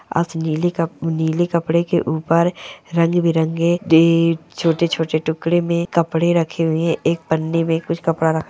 आस नीले कप नीले कपडे के ऊपर रंग बिरंगे छोटे छोटे टुकड़े मे कपडे रखे हुए है एक पन्नी मे कूछ कपड़ा--